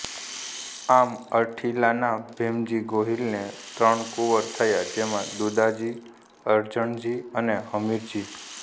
આમ અરઠીલાના ભીમજી ગોહિલને ત્રણ કુંવર થયા જેમાં દુદાજી અરજણજી અને હમીરજી